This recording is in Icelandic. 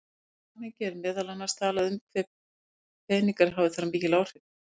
Í því samhengi er meðal annars talað um hve peningar hafi þar mikil áhrif.